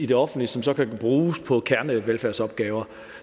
det offentlige som så kan bruges på kernevelfærdsopgaver